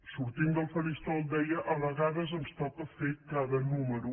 sortint del faristol deia a vegades ens toca fer cada número